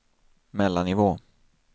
mellannivå